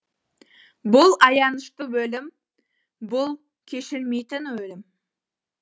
бұл аянышты өлім бұл кешілмейтін өлім